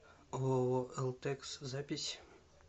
ооо элтекс запись